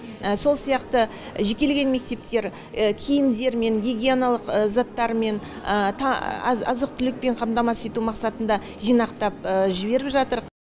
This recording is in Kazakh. сол сияқты жекелеген мектептер киімдермен гигиеналық заттармен азық түлікпен қамтамасыз ету мақсатында жинақтап жіберіп жатыр